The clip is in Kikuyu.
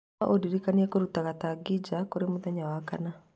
No ũndirikanie kũruta gatangi nja kũrĩ mũthenya wa Wakana